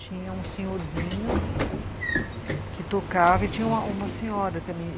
Tinha um senhorzinho que tocava e tinha uma senhora também.